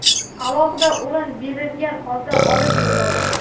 alohida o‘rin berilgan holda olib yuriladi.